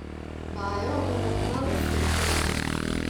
Vajo bomo kmalu spet ponovili.